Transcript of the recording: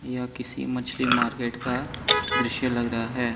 यह किसी मछली मार्केट का दृश्य लग रहा है।